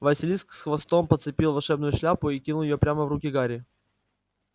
василиск с хвостом подцепил волшебную шляпу и кинул её прямо в руки гарри